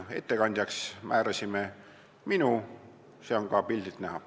Ettekandjaks määrasime minu, seda on ka pildilt näha.